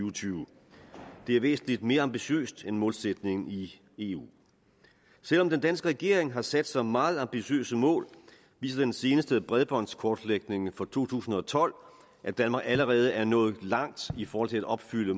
og tyve det er væsentlig mere ambitiøst end målsætningen i eu selv om den danske regering har sat sig meget ambitiøse mål viser den seneste bredbåndskortlægning fra to tusind og tolv at danmark allerede er nået langt i forhold til at opfylde